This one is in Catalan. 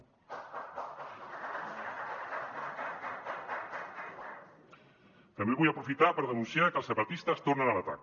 també vull aprofitar per denunciar que els separatistes tornen a l’atac